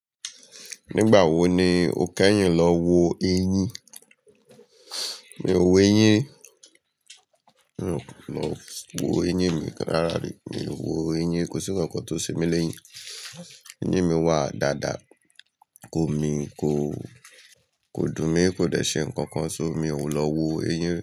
Nígbà wo ni o kẹ́yìn lọ wo eyín? Mi ò wo eyín ri, mi ò wo eyín mi kan rárá rí. Mi ò wo eyín, kò sí nkankan tó ṣe mí le éyìn. Eyín mi wà dáadáa, kò mi, kò, kò dùn mí, kò dẹ̀ ṣe nǹkan kan sọ́ mi. Mi ò lọ wo eyín.